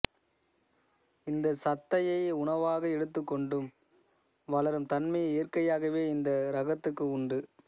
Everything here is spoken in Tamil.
இந்தச் சத்தையே உணவாக எடுத்துக்கொண்டு வளரும் தன்மையை இயற்கையாகவே இந்த இரகத்துக்கு உண்டு